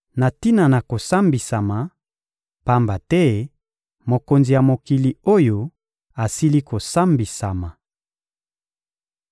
na tina na kosambisama, pamba te mokonzi ya mokili oyo asili kosambisama.